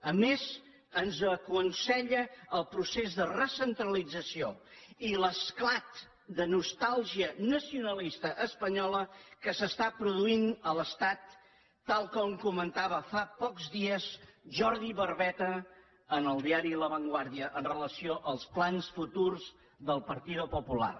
a més ens ho aconsella el procés de recentralització i l’esclat de nostàlgia nacionalista espanyola que s’està produint a l’estat tal com comentava fa pocs dies jordi barbeta en el diari la vanguàrdia amb relació als plans futurs del partido popular